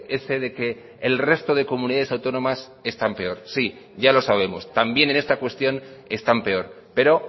ese de que el resto de comunidades autónomas están peor sí ya lo sabemos también en esta cuestión están peor pero